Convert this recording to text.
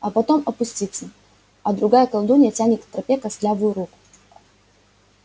а потом опустится а другая колдунья тянет к тропе костлявую руку